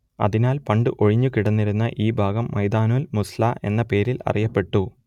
അതിനാൽ പണ്ടു ഒഴിഞ്ഞുകിടന്നിരുന്ന ഈ ഭാഗം മൈദാനുൽ മുസ്വല്ല എന്ന പേരിൽ അറിയപ്പെട്ടു